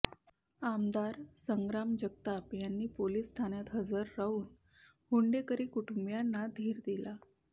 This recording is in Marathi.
आमदार संग्राम जगताप यांनी पोलीस ठाण्यात हजर राहून हुंडेकरी कुटुंबियांना धीर दिला